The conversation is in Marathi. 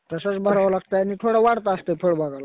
तसं विमाला टायमिंग थोडा वाढत असतंय फळबागाला.